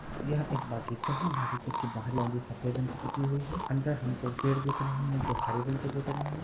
यह एक बगीचा है बगीचे के बाहर सफेद रंग की पुती हुई है अंदर हमको पेड़ दिख रहे है जो हरे रंग के दिख रहे है।